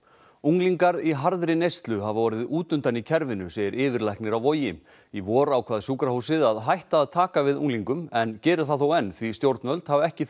unglingar í harðri neyslu hafa orðið út undan í kerfinu segir yfirlæknir á Vogi í vor ákvað sjúkrahúsið að hætta að taka við unglingum en gerir það þó enn því stjórnvöld hafa ekki